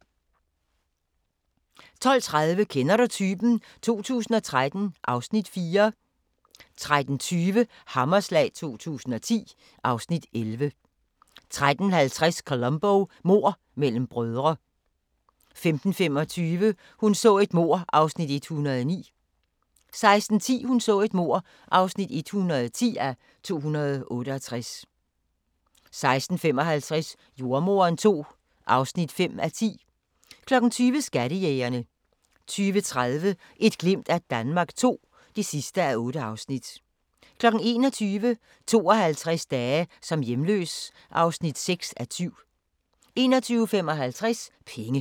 12:30: Kender du typen? 2013 (Afs. 4) 13:20: Hammerslag 2010 (Afs. 11) 13:50: Columbo: Mord mellem brødre 15:25: Hun så et mord (109:268) 16:10: Hun så et mord (110:268) 16:55: Jordemoderen II (5:10) 20:00: Skattejægerne 20:30: Et glimt af Danmark II (8:8) 21:00: 52 dage som hjemløs (6:7) 21:55: Penge